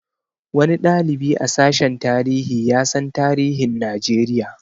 Wani ɗalibi a sashen tarihi ya san tarihin Najeriya